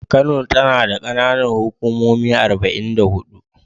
Kano tana da ƙananan hukumomi arba'in da huɗu.